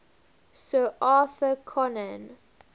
sir arthur conan